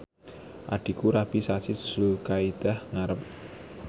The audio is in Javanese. adhiku rabi sasi Zulkaidah ngarep